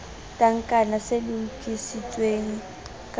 tankana se lokisitsweng ka ho